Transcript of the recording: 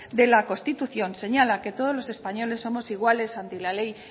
de la constitución señala que todos los españoles somos iguales ante la ley